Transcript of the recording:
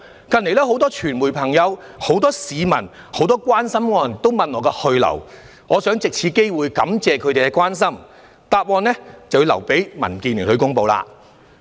近日很多傳媒朋友、很多市民和關心我的人也詢問我的去留，我想藉此機會感謝他們的關顧，但答覆就要留待民建聯公布。